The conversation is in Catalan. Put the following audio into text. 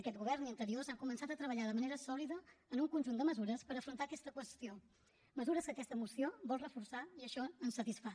aquest govern i anteriors han començat a treballar de manera solida en un conjunt de mesures per afrontar aquesta qüestió mesures que aquesta moció vol reforçar i això ens satisfà